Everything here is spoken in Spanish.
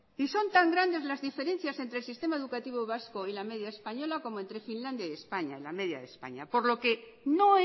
son tan grandes las diferencias entre el sistema educativo vasco y la media española como entre finlandia y españa la media de españa por lo que no